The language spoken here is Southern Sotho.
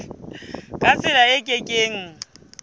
ka tsela e ke keng